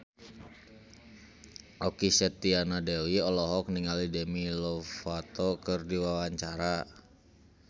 Okky Setiana Dewi olohok ningali Demi Lovato keur diwawancara